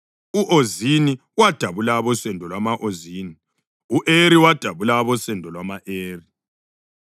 u-Ozini wadabula abosendo lwama-Ozini; u-Eri wadabula abosendo lwama-Eri;